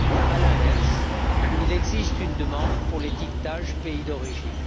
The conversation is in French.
À l'inverse, il existe une demande pour l'étiquetage pays d'origine.